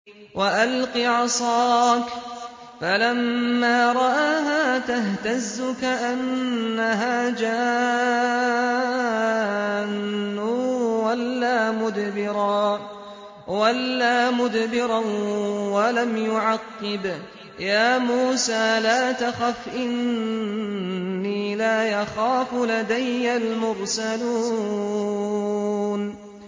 وَأَلْقِ عَصَاكَ ۚ فَلَمَّا رَآهَا تَهْتَزُّ كَأَنَّهَا جَانٌّ وَلَّىٰ مُدْبِرًا وَلَمْ يُعَقِّبْ ۚ يَا مُوسَىٰ لَا تَخَفْ إِنِّي لَا يَخَافُ لَدَيَّ الْمُرْسَلُونَ